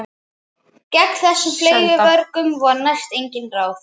Gegn þessum fleygu vörgum voru næstum engin ráð.